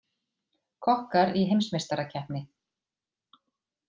Kokkar í heimsmeistarakeppni